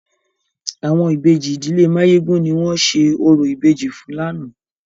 Àwọn Ìbejì ìdílé Máyégún ni wọ́n ṣe orò ìbejì fún lánàá.